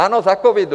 Ano, za covidu.